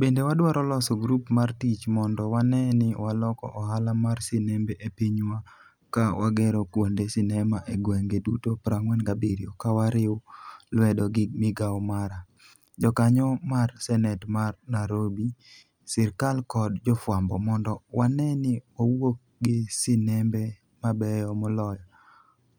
Bende wadwaro loso grup mar tich mondo wane ni waloko ohala mar sinembe e pinywa ka wagero kuonde sinema e gwenge duto 47 ka wariw lwedo gi migao mara, jakanyo mar senet mar Nairobi, sirkal kod jofwambo mondo wane ni wawuok gi sinembe mabeyo moloyo",